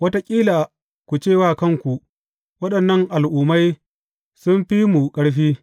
Wataƙila ku ce wa kanku, Waɗannan al’ummai sun fi mu ƙarfi.